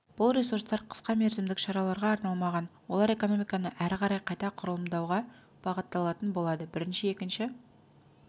бұл ресурстар қысқа мерзімдік шараларға арналмаған олар экономиканы әрі қарай қайта құрылымдауға бағытталатын болады бірінші екінші